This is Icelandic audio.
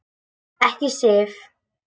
Ekki Sif.